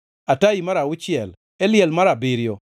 Atai mar auchiel, Eliel mar abiriyo,